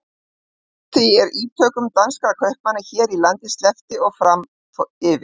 Allt frá því er ítökum danskra kaupmanna hér á landi sleppti og fram yfir